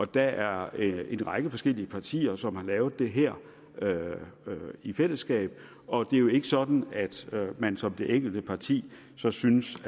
der er en række forskellige partier som har lavet det her i fællesskab og det er jo ikke sådan at man som det enkelte parti så synes